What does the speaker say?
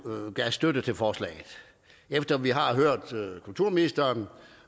gav støtte til forslaget efter at vi har hørt kulturministeren